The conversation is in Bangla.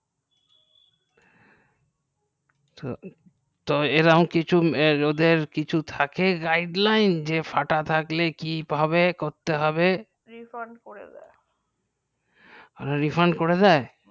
তো এরোকোম কিছু ওদের কিছু থেকে guideline যে ফাটা থাকলে কি ভাবে করতে হবেঃ refund করে দেয় refant করে দেয়